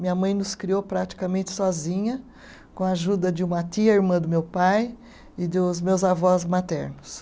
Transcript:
Minha mãe nos criou praticamente sozinha, com a ajuda de uma tia irmã do meu pai e dos meus avós maternos.